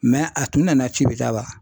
a tun nana cibicaba.